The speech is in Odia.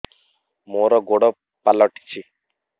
ମୋର ଗୋଡ଼ ପାଲଟିଛି